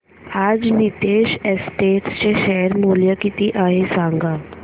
आज नीतेश एस्टेट्स चे शेअर मूल्य किती आहे सांगा